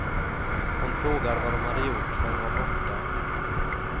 Hon frågade vad de hade gjort när hon var borta.